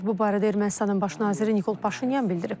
Bu barədə Ermənistanın baş naziri Nikol Paşinyan bildirib.